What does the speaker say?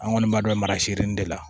An kɔni b'a dɔn marasirin de la